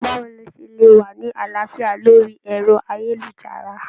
Báwo lo ṣe lè wà ní àlàáfíà lórí ẹ̀rọ-ayélujára?